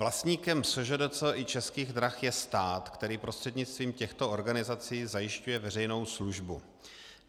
Vlastníkem SŽDC i Českých drah je stát, který prostřednictvím těchto organizací zajišťuje veřejnou službu.